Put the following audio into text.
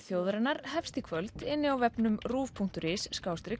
þjóðarinnar hefst í kvöld á vefnum ruv punktur is